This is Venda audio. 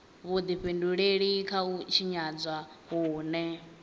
vhudifhinduleli kha u tshinyadzwa hune